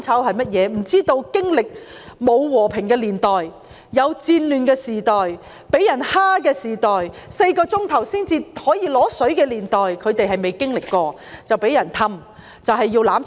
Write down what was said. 他們不曾經歷戰亂的時代、遭受欺負的時代及每4小時才可以用水一次的年代，因此被別有用心的人哄騙，要香港"攬炒"。